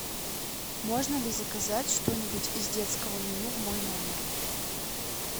можно ли заказать что нибудь из детского меню в мой номер